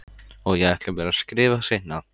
Og ég ætla mér að skrifa seinna.